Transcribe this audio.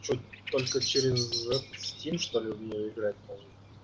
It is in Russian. что только через стим что ли в неё играть можно